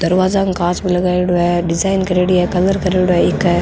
दरवाजा में कांच को लगायेडो है डिज़ाइन करेड़ी है कलर करेडो है ईके।